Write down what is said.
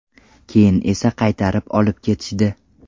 Keyin esa qaytarib olib ketishdi.